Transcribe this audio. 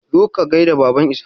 Zo ka gaida Baban Ishaq!